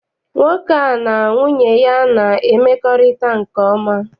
Nwoke a na nwunye ya na-emekorita nke oma.